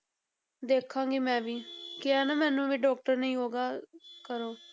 ਦੇਖਾਂਗੀ ਮੈਂ ਵੀ ਕਿਹਾ ਨਾ ਮੈਨੂੰ ਵੀ doctor ਨੇ ਯੋਗਾ ਕਰੋ।